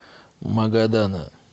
магадана